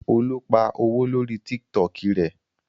Olú pa owó lórí Tiktok rẹ.